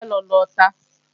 Mo fẹ́ lọ lọta